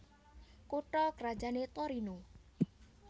Kutha krajané Torino